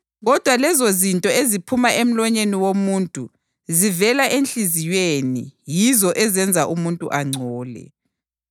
Kodwa lezozinto eziphuma emlonyeni womuntu zivela enhliziyweni yizo ezenza umuntu angcole.